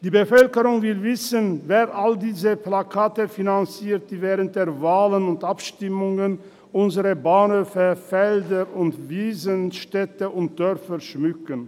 Die Bevölkerung will wissen, wer all diese Plakate finanziert, die während Wahlen und Abstimmungen unsere Bahnhöfe, Felder, Wiesen und Dörfer schmücken.